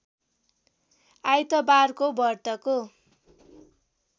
आइतबारको व्रतको